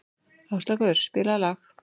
Áslákur, spilaðu lag.